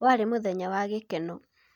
warĩ mũthenya wa gĩkeno